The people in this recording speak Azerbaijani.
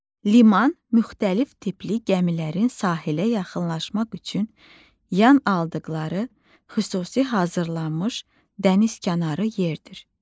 Liman müxtəlif tipli gəmilərin sahilə yaxınlaşmaq üçün yan aldıqları xüsusi hazırlanmış dənizkənarı yerdir.